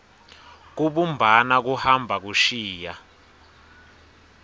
kubumbana kuhamba kushiya